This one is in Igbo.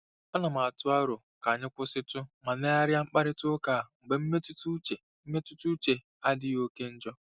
Ana m atụ aro ka anyị kwụsịtụ ma legharịa mkparịta ụka a mgbe mmetụta uche mmetụta uche adịghị oke njọ.